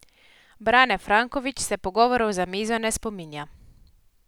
Brane Franković se pogovorov za mizo ne spominja.